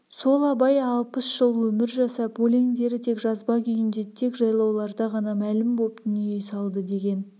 сол абай алпыс жыл өмір жасап өлеңдері тек жазба күйінде тек жайлауларда ғана мәлім боп дүние салды деген